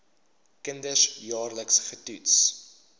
kinders jaarliks getoets